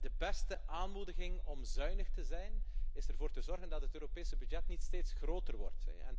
De beste aanmoediging om zuinig te zijn, is ervoor te zorgen dat het Europese budget niet steeds groter wordt.